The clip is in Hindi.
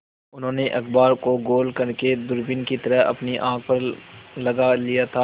उन्होंने अखबार को गोल करने दूरबीन की तरह अपनी आँख पर लगा लिया था